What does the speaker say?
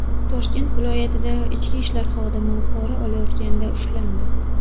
Toshkent viloyatida ichki ishlar xodimi pora olayotganda ushlandi.